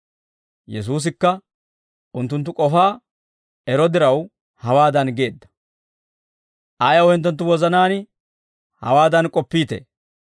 Yesuusikka unttunttu k'ofaa ero diraw hawaadan geedda, «Ayaw hinttenttu wozanaan hawaadan k'oppiitee?